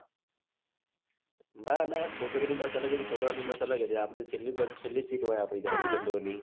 ના ના છોકરીઓની bus અલગ હતી છોકરાઓની બસ અલગ હતી આપડી છેલ્લી બસ છેલ્લી seat હોય આપડી તો legend ઓ ની